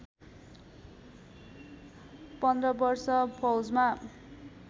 १५ वर्ष फौजमा